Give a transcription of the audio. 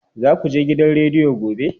Za ku je gidan rediyo gobe?